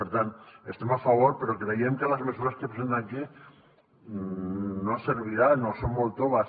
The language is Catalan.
per tant hi estem a favor però creiem que les mesures que presentem aquí no serviran o són molt toves